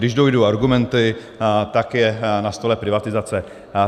Když dojdou argumenty, tak je na stole privatizace.